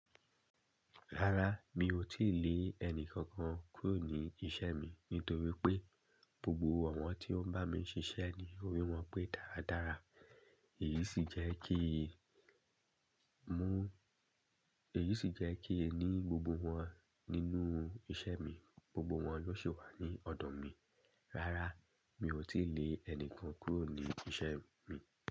Rárá, mi ò tíì lé ẹnìkankan kúrò ní isẹ́ mi nítorí pé gbogbo awọ́n tí ó ń bá mi ṣiṣẹ́ ni óri wọn pé dáradára. Èyí sì jẹ́ kí mú, èyí sì jẹ́ kí ẹ ní gbogbo wọn nínú isẹ́ mi, gbogbo wọn lóò sì wà ní ọ̀dọ̀ mi. Rárá, mi ò tí lè ẹni kan kúrò ní isẹ́ mi.